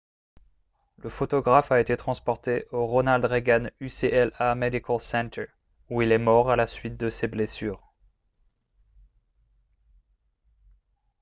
le photographe a été transporté au ronald reagan ucla medical center où il est mort à la suite de ses blessures